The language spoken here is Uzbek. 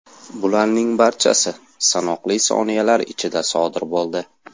Bularning barchasi sanoqli soniyalar ichida sodir bo‘ldi.